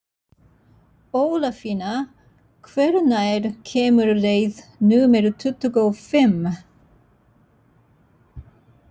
Ólafína, hvenær kemur leið númer tuttugu og fimm?